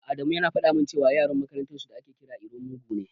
Adamu yana faɗa min cewa Yaron makarantar su da ake kira iro mugu ne.